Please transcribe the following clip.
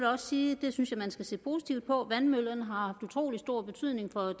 også sige at det synes jeg man skal se positivt på vandmøllerne har haft utrolig stor betydning for